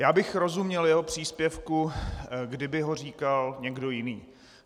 Já bych rozuměl jeho příspěvku, kdyby ho říkal někdo jiný.